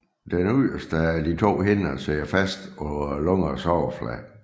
Den yderst af de to hinder sidder fast på lungernes overflade